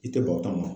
I tɛ bɔ o ta ma